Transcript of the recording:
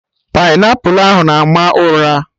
Painiapụlụ ahụ na-ama ụra